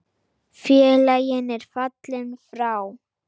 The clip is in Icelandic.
Félagi er fallinn frá.